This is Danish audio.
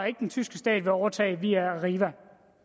ikke den tyske stat vil overtage via arriva